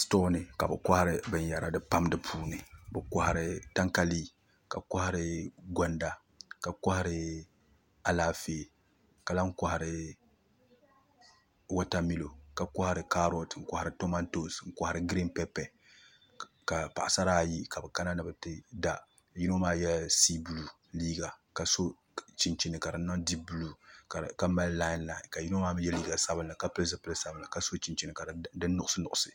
Stoo ni ka bi kohari binyɛra pam di puuni bi kohari tangalii ka kohari gonda ka kohari Alaafee ka lahi kohari wotamilo ka kohari kaarot n kohari kamantoosi n kohari giriin pɛpɛ ka paɣasara ayi ka bi kana ni bi ti da yino maa yɛla sii buluu liiga ka so chinchini ka di niŋ diip buluu ka mali lailai ka yino maa mii yɛ liiga sabinli ka pili zipilisabinli ka so chinchini ka di niŋ nuɣso